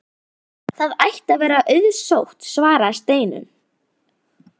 Það ætti að vera auðsótt svaraði Steinunn.